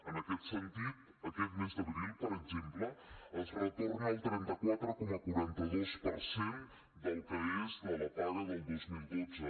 en aquest sentit aquest mes d’abril per exemple es retorna el trenta quatre coma quaranta dos per cent de la paga del dos mil dotze